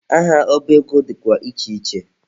Aha ọba ego dịkwa iche iche.